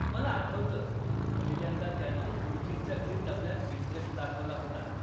मला आठवतं, पहिल्यांदा त्यानं गुरुजींच्या घरी तबल्यात इंटरेस्ट दाखवला होता.